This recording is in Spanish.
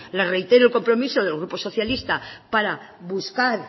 le reitero el compromiso del grupo socialista para buscar